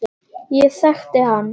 Ég þekkti hann